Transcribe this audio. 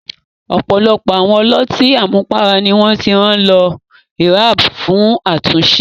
Ọ̀pọ̀lọpọ̀ àwọn ọlọ́tí àmupara ni wọ́n ti rán lọ ríhábù fún àtúnṣe.